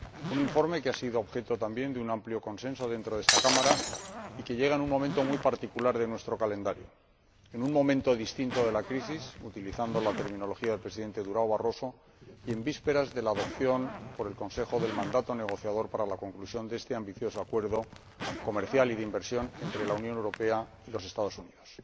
Un informe que ha sido objeto también de un amplio consenso dentro de esta Cámara y que llega en un momento muy particular de nuestro calendario, en un momento distinto de la crisis utilizando la terminología del Presidente Barroso y en vísperas de la adopción por el Consejo del mandato negociador para la conclusión del ambicioso acuerdo comercial y de inversión entre la Unión Europea y los Estados Unidos.